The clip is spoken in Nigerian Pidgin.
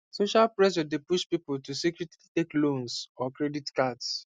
social pressure dey push people to secretly take loans or credit cards